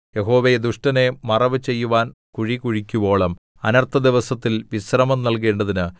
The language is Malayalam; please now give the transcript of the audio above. യഹോവേ ദുഷ്ടനെ മറവു ചെയ്യുവാൻ കുഴി കുഴിക്കുവോളം അനർത്ഥദിവസത്തിൽ വിശ്രമം നൽകേണ്ടതിന്